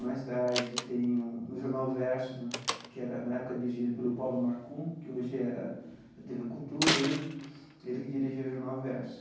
Mais tarde tem um, no Jornal Versus né, que era, na época, dirigido pelo Paulo Markun, que hoje era da Tê Vê Cultura né, ele que dirigia o Jornal Versus.